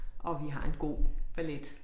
Og vi har en god ballet